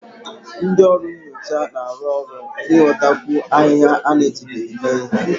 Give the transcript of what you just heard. Ndị ọrụ nyocha na-arụ ọrụ n'ịghọtakwu ahịhịa a na-ejibeghị mee ihe